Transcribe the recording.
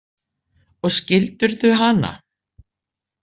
Og skildirðu hana?